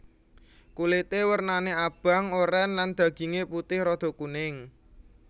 Kulité wernané abang oren lan dagingé putih rada kuning